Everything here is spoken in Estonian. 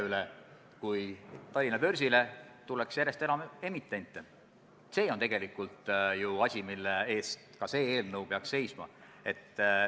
Minul tekkis selline küsimus, et kui seda ei suudeta täita direktiivi tähtaegadeks, miks ei arutatud siis seda, et mingi aja jooksul ikkagi suudetaks seda täita.